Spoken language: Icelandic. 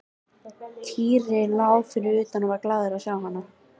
Týri lá fyrir utan og varð glaður að sjá hana.